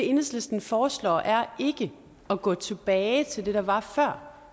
enhedslisten foreslår er ikke at gå tilbage til det der var før